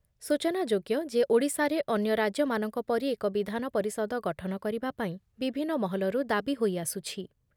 ସୂଚନାଯୋଗ୍ୟ ଯେ ଓଡ଼ିଶାରେ ଅନ୍ୟ ରାଜ୍ୟମାନଙ୍କ ପରି ଏକ ବିଧାନ ପରିଷଦ ଗଠନ କରିବା ପାଇଁ ବିଭିନ୍ନ ମହଲରୁ ଦାବି ହୋଇଆସୁଛି ।